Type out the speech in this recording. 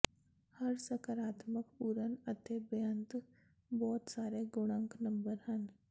ਹਰ ਸਕਾਰਾਤਮਕ ਪੂਰਨ ਅੰਕ ਬੇਅੰਤ ਬਹੁਤ ਸਾਰੇ ਗੁਣਕ ਨੰਬਰ ਹਨ